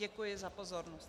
Děkuji za pozornost.